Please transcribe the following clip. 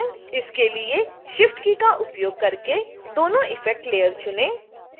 इसके लिए shift key का उपयोग करके दोनों इफ़ेक्ट लेयर चुनें